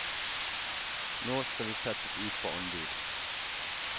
Nå skal vi settes ut på anbud.